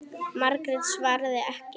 Margrét svaraði ekki.